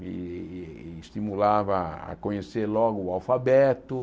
E me estimulava a conhecer logo o alfabeto.